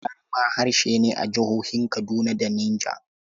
Gwari ma harshe ne a jihohin Kaduna da Niger.